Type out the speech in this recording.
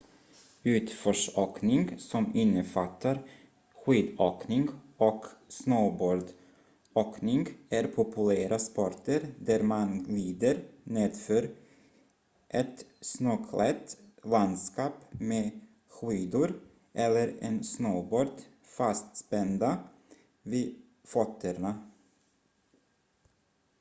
utförsåkning som innefattar skidåkning och snowboardåkning är populära sporter där man glider nedför ett snöklätt landskap med skidor eller en snowboard fastspända vid fötterna